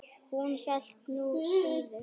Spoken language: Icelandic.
Hún hélt nú síður.